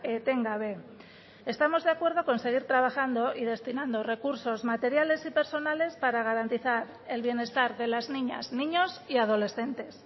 etengabe estamos de acuerdo con seguir trabajando y destinando recursos materiales y personales para garantizar el bienestar de las niñas niños y adolescentes